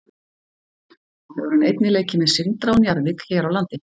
Þá hefur hann einnig leikið með Sindra og Njarðvík hér á landi.